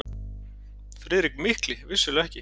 FRIÐRIK MIKLI: Vissulega ekki!